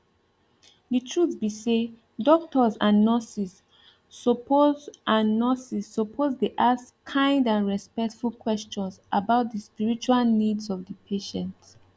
the truth be say doctors and nurses suppose and nurses suppose dey ask kind and respectful questions about the spiritual needs of the patient